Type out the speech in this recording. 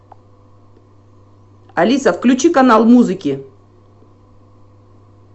алиса включи канал музыки